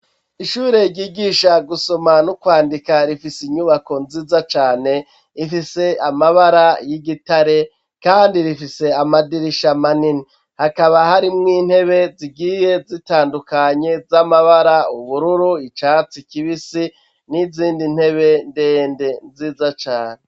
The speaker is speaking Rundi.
Ishure ryigisha gusoma no kwandika, rifise inyubako nziza cane ifise amabara y'igitare kandi rifise amadirisha manini. Hakaba harimwo intebe zigiye zitandukanye, z'amabara: ubururu, icatsi kibisi, n'izindi ntebe ndende nziza cane.